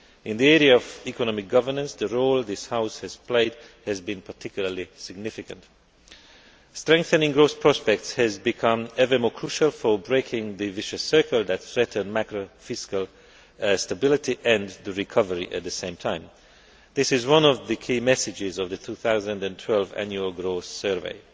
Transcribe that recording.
In the area of economic governance the role this House has played has been particularly significant. Strengthening growth prospects has become ever more crucial for breaking the vicious circle that threatens macro financial stability and the recovery at the same time. This is one of the key messages of the 2012 Annual Growth Survey.